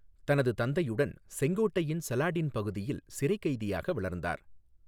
தனது தந்தையுடன், செங்கோட்டையின் சலாடின் பகுதியில் சிறைக் கைதியாக வளர்ந்தார்.